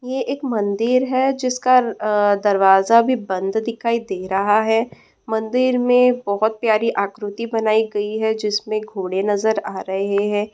यह एक मंदिर है जिसका आ- दरवाजा भी बंद दिखाई दे रहा है। मंदिर में बहुत प्यारी आकृति बनाई गइ है जिसमें घोड़े नजर आ रहे हैं।